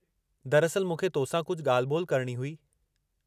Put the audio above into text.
दरअसलि, मूंखे तो सां कुझु ॻाल्हि-ॿोल करणी हुई।